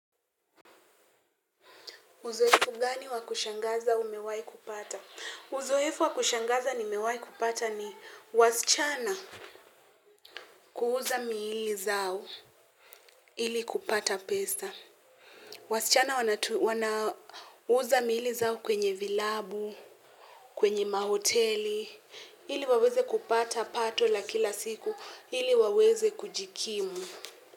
Uzoefu gani wa kushangaza umewai kupata? Uzoefu wa kushangaza nimewai kupata ni wasichana kuuza mili zao ili kupata pesa. Wasichana wanauza mili zao kwenye vilabu, kwenye mahoteli, ili waweze kupata pato la kila siku, ili waweze kujikimu.